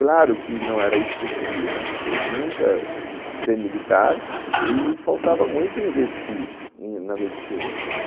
Claro que não era isso que eu queria, quer dizer, nunca ser militar e faltava muito investir na medicina.